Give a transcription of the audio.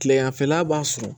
Kileganfɛla b'a sɔrɔ